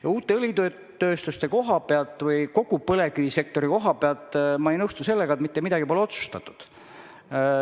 Mis puutub uutesse õlitehastesse või kogu põlevkivisektorisse, siis ma ei ole nõus, et mitte midagi pole otsustatud.